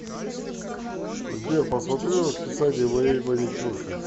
сбер посмотри расписание моей маникюрши